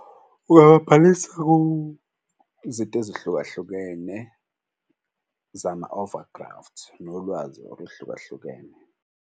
Uyawabhalisa izinto ezihlukahlukene zama-over graft nolwazi oluhlukahlukene.